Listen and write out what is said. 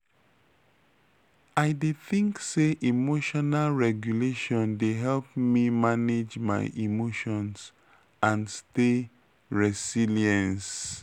i dey think say emotional regulation dey help me manage my emotions and stay resilience.